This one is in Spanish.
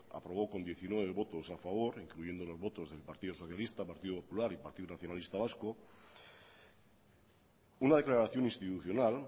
aprobó con diecinueve votos a favor incluyendo los votos del partido socialista partido popular y partido nacionalista vasco una declaración institucional